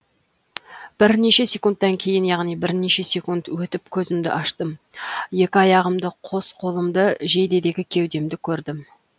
бірнеше секундтан кейін яғни бірнеше секунд өтіп көзімді аштым екі аяғымды қос қолымды жейдедегі кеудемді көрдім